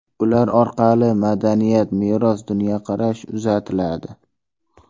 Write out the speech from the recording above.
Ular orqali madaniyat, meros, dunyoqarash uzatiladi.